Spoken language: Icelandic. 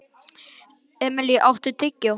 Emilý, áttu tyggjó?